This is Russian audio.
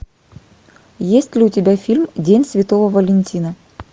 есть ли у тебя фильм день святого валентина